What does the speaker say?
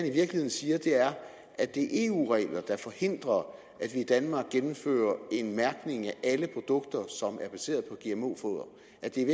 i virkeligheden siger er at det er eu regler der forhindrer at vi i danmark gennemfører en mærkning af alle produkter som er baseret og at det